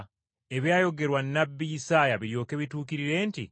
Ebyayogerwa Nnabbi Isaaya biryoke bituukirire nti: